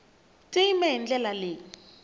ti yime hi ndlela leyi